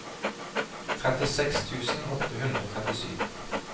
trettiseks tusen åtte hundre og trettisju